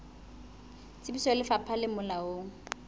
tsebiso ya lefapha le molaong